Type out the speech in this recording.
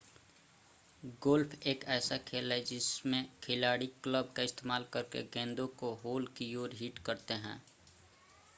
golf एक ऐसा खेल है जिसमें खिलाड़ी क्लब का इस्तेमाल करके गेंदों को होल की ओर हिट करते हैं